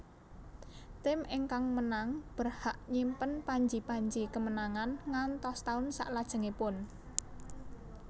Tim ingkang menang berhak nyimpen panji panji kemenangan ngantos taun saklajengipun